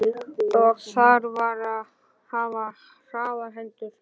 Og þar varð að hafa hraðar hendur.